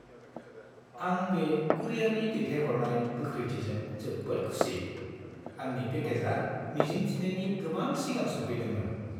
आं बे कुरियारनि दैथायहरनाय गोख्रैथिजों जोबोद खुसि। आंनि पेकेजआ मिजिं थिनायनि गोबां सिगां सौफैदोंमोन।